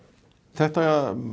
þetta